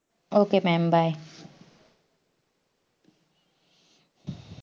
okay mam bye